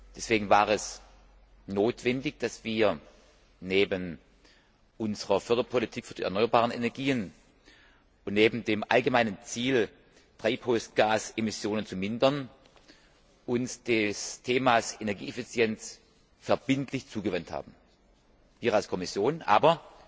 Deswegen war es notwendig, dass wir uns neben unserer Förderpolitik für die erneuerbaren Energien und neben dem allgemeinen Ziel, Treibhausgasemissionen zu mindern, dem Thema Energieeffizienz verbindlich zugewandt haben wir als Kommission, aber